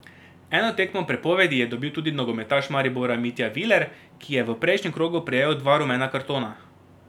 Eno tekmo prepovedi je dobil tudi nogometaš Maribora Mitja Viler, ki je v prejšnjem krogu prejel dva rumena kartona.